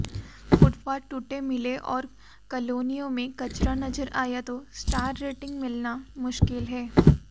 footpath टूटे मिले और कालोनियों में कचरा नजर आया तो स्टार रेटिंग मिलना मुश्किल है